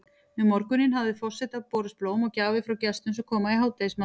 Um morguninn hafa forseta borist blóm og gjafir frá gestum sem koma í hádegismat.